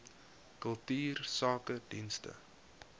kultuursakedienste